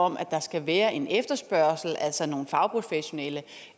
om at der skal være en efterspørgsel altså nogle fagprofessionelle